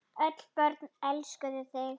Öll börn elskuðu þig.